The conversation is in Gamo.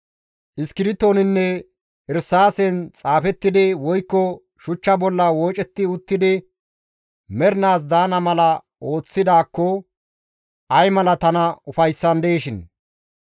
Iskirtoninne irsaasen xaafettidi woykko shuchcha bolla woocetti uttidi mernaas daana mala ooththidaakko ay mala tana ufayssandeeshin!